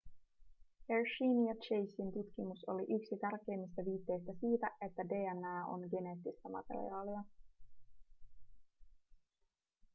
hersheyn ja chasen tutkimus oli yksi tärkeimmistä viitteistä siitä että dna on geneettistä materiaalia